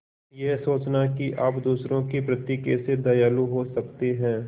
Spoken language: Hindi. यह सोचना कि आप दूसरों के प्रति कैसे दयालु हो सकते हैं